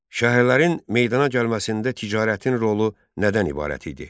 Şəhərlərin meydana gəlməsində ticarətin rolu nədən ibarət idi?